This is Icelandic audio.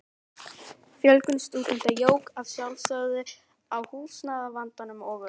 Fjölgun stúdenta jók að sjálfsögðu á húsnæðisvandann og um